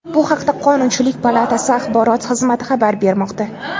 Bu haqda qonunchilik palatasi axborot xizmati xabar bermoqda.